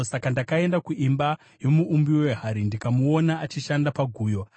Saka ndakaenda kuimba yomuumbi wehari, ndikamuona achishanda paguyo.